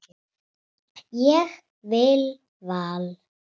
Ég vil Val.